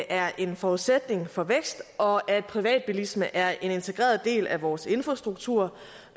er en forudsætning for vækst og at privatbilisme er en integreret del af vores infrastruktur